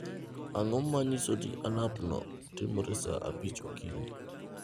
Ang’o ma nyiso ni alarmno timore e saa abich okinyi?